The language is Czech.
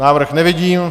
Návrh nevidím.